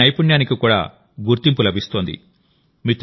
వారి నైపుణ్యానికి కూడా గుర్తింపు లభిస్తోంది